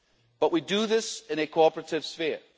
role. But we do this in a cooperative